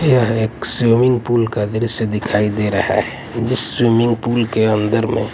यह एक swimming pool का दृश्य दिखाई दे रहा है जिस स्विमिंग पूल के अंदर में--